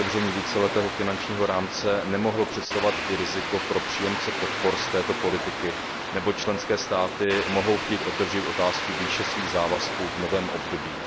otevření víceletého finančního rámce nemohlo představovat i riziko pro příjemce podpor z této politiky, neboť členské státy mohou chtít otevřít otázku výše svých závazků v novém období.